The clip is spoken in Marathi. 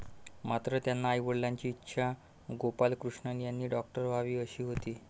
मात्र, त्यांच्या आईवडिलांची इच्छा गोपालकृष्णन यांनी डॉक्टर व्हावे अशी होती.